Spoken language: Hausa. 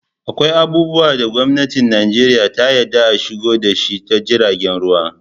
Akwai abubuwa da gwamnatin Nijeriya ta yadda a shigo da shi ta jiragen ruwa